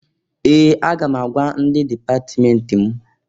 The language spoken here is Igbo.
Ee! Aga m agwa ndị dipatmenti m.